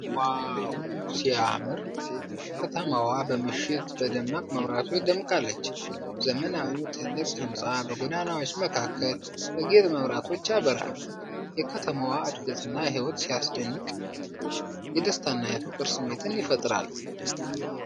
ዋው ሲያምር! ከተማዋ በምሽት በደማቅ መብራቶች ደምቃለች። ዘመናዊው ትልቅ ህንጻ በጎዳናዎች መካከል በጌጥ መብራቶች ያበራል። የከተማዋ ዕድገትና ሕይወት ሲያስደንቅ! የደስታና የፍቅር ስሜትን ይፈጥራል።